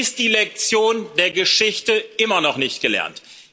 Ist die Lektion der Geschichte immer noch nicht gelernt?